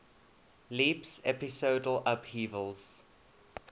leaps episodal upheavals